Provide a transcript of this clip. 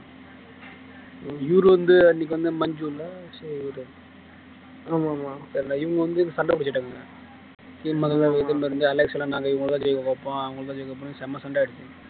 இவரு வந்து அன்னைக்கு வந்து மஞ்சு இல்லை ஆமா ஆமா தெரியலே இவங்க வந்து சண்டை பிடிச்சவங்க நாங்க இவங்கதான் ஜெயிக்க வைப்போம் அவங்களைதான் ஜெயிக்க வைப்போம்ன்னு செம சண்டை ஆயிடுச்சு